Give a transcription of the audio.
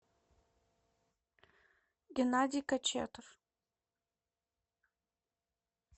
геннадий кочетов